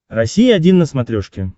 россия один на смотрешке